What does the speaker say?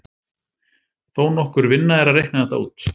Þó nokkur vinna er að reikna þetta út.